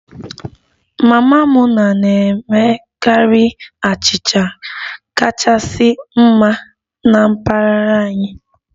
Mama Muna na-emekarị achịcha kachasị mma na mpaghara anyị